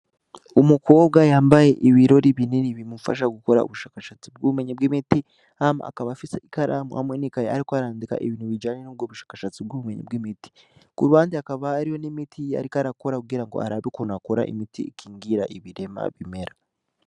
Umukobwa yambaye ibirori binini bimufasha gukora ubushakashatsi bw’imiti hama akaba afise ikaramu hamwe n’ikaye ariko arandika ibintu bijanye nubwo bushakashatsi bw’ubumenyi bw’imiti. Kuruhande hakaba hari n’imit’ariko arakora kugira arabe ukuntu akora imiti ikingira ibirema bimera.